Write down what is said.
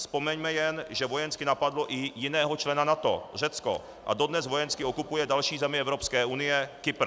Vzpomeňme jen, že vojensky napadlo i jiného člena NATO, Řecko, a dones vojensky okupuje další zemi Evropské unie, Kypr.